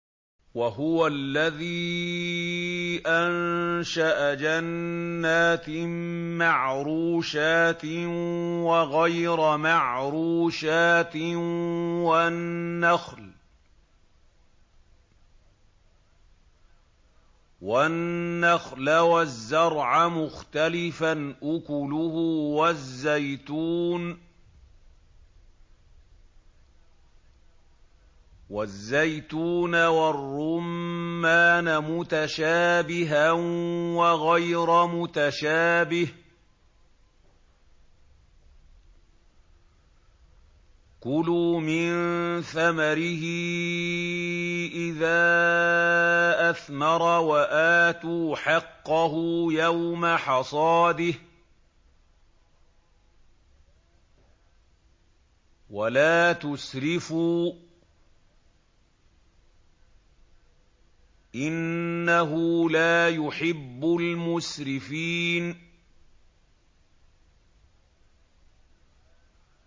۞ وَهُوَ الَّذِي أَنشَأَ جَنَّاتٍ مَّعْرُوشَاتٍ وَغَيْرَ مَعْرُوشَاتٍ وَالنَّخْلَ وَالزَّرْعَ مُخْتَلِفًا أُكُلُهُ وَالزَّيْتُونَ وَالرُّمَّانَ مُتَشَابِهًا وَغَيْرَ مُتَشَابِهٍ ۚ كُلُوا مِن ثَمَرِهِ إِذَا أَثْمَرَ وَآتُوا حَقَّهُ يَوْمَ حَصَادِهِ ۖ وَلَا تُسْرِفُوا ۚ إِنَّهُ لَا يُحِبُّ الْمُسْرِفِينَ